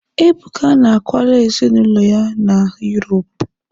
Ebuka na akwala ezinụlọ ya na Yuropu.